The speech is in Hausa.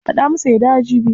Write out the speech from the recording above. Faɗa masa ya dawo jibi.